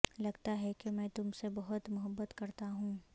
لگتا ہے کہ میں تم سے بہت محبت کرتا ہوں